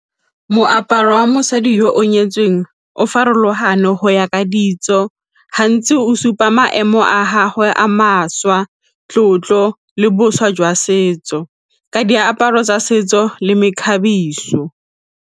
Moaparo wa mosadi yo o nyetsweng o farologano go ya ka ditso gantsi o supa maemo a gagwe a mašwa, tlotlo le boswa jwa setso ka diaparo tsa setso le mekgabiso.